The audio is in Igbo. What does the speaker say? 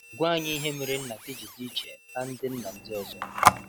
Gwa anyị ihe mere nna gị ji dị iche na ndị nna ndị ọzọ?